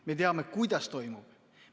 Me teame, kuidas toimub.